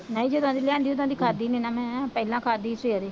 ਨਹੀਂ ਜਦੋਂ ਦੀ ਲਿਆਂਦੀ ਉਦੋਂ ਦੀ ਖਾਧੀ ਨਹੀਂ ਨਾ ਮੈਂ ਪਹਿਲਾਂ ਖਾਧੀ ਸੀ ਸਵੇਰੇ